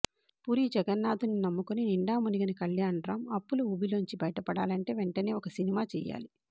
పూరి జగన్నాథ్ని నమ్ముకుని నిండా మునిగిన కళ్యాణ్రామ్ అప్పుల ఊబిలోంచి బయట పడాలంటే వెంటనే ఒక సినిమా చెయ్యాలి